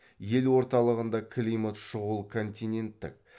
ел орталығында климат шұғыл континенттік